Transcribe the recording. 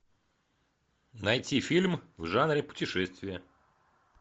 найти фильм в жанре путешествия